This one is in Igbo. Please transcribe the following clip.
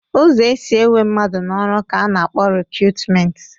Ụzọ e si ewe mmadụ n'ọrụ ka a na-akpọ rekutumenti